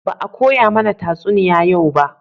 Ba a koya mana tatsuniya yau ba